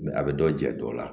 a bɛ dɔ jɛ dɔ la